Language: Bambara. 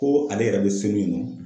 Ko ale yɛrɛ be so min na.